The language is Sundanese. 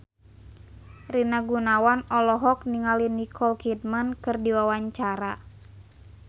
Rina Gunawan olohok ningali Nicole Kidman keur diwawancara